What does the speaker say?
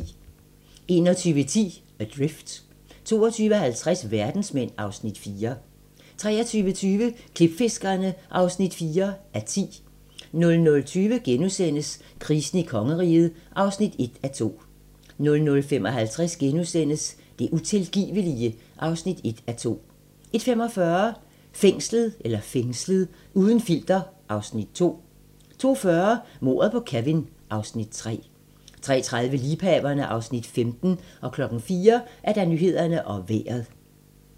21:10: Adrift 22:50: Verdensmænd (Afs. 4) 23:20: Klipfiskerne (4:10) 00:20: Krisen i kongeriget (1:2)* 00:55: Det utilgivelige (1:2)* 01:45: Fængslet - uden filter (Afs. 2) 02:40: Mordet på Kevin (Afs. 3) 03:30: Liebhaverne (Afs. 15) 04:00: Nyhederne og Vejret